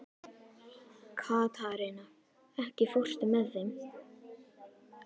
Katharina, ekki fórstu með þeim?